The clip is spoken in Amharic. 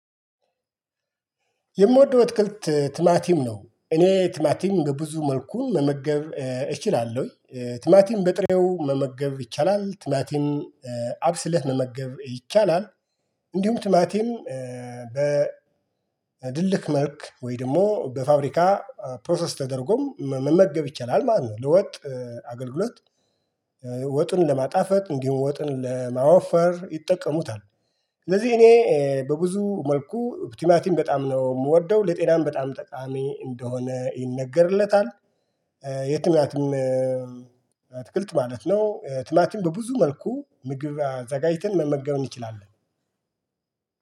የምወደው እትክልት ትማቲም ነው እኔ ትማቲም በብዙ መልኩ መመገብ እችላለሁኝ ትማቲም በጥሬው መመገብ ይቻላል ትማቲም አብስለህ መመገብ ይቻላል እንዲሁም ትማቲም በድልህ መልክ ወይ ደግሞ በፋብሪካ ፕሮሰስ ተደርጎም መመገብ ይቻላል ማለት ነው ለወጥ አገልግሎት ወጥን ለማጣፈጥ እንዲሁም ወጥን ለማወፈር ይጠቀሙታል። ስለዚህ እኔ በብዙ መልኩ ቲማቲም በጣም ነው የምወደው ለጤናም በጣም ጠቃሚ እንደሆነ ይነገርለታል። የትማትም አትክልት ማለት ነው። ትማትም በብዙ መልኩ ምግብ አዘጋጅተን መመገብ እንችላለን